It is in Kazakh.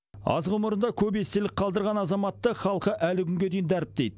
аз ғұмырында көп естелік қалдырған азаматты халқы әлі күнге дейін дәріптейді